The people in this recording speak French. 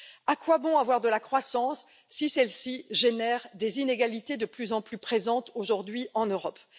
À quoi bon avoir de la croissance si celle ci génère des inégalités de plus en plus présentes aujourd'hui en Europe?